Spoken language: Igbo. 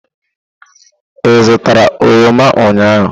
Ị zụtara oroma ụnyahụ?